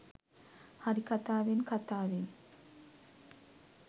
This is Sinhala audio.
හරි කතාවෙන් කතාවෙන්